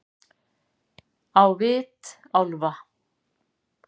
Á vit álfa-